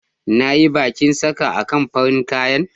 Na yi bakin saka a kan farin kayan.